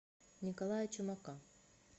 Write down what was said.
николая чумака